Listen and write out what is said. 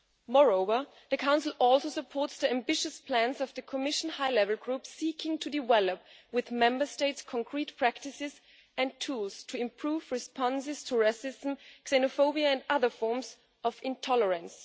Moreover, the Council supports the ambitious plans of the Commission high level group seeking to develop, with Member States, concrete practices and tools to improve responses to racism, xenophobia and other forms of intolerance.